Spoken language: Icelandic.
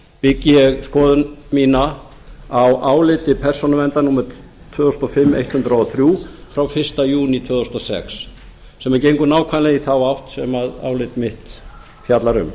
byggi ég skoðun mína á áliti persónuverndar númer tvö þúsund og fimm hundrað og þrír frá fyrsta júní tvö þúsund og sex sem gengur nákvæmlega í þá átt sem álit mitt fjallar um